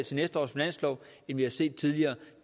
til næste års finanslov end vi har set tidligere